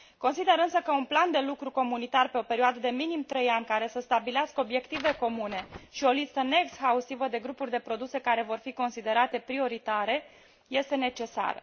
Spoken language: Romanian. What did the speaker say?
Consider însă că un plan de lucru comunitar pe o perioadă de minim trei ani, care să stabilească obiective comune și o listă neexhaustivă de grupuri de produse care vor fi considerate prioritare, este necesară.